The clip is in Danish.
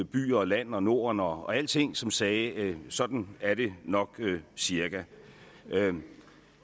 by og land og norden og alting som sagde sådan er det nok cirka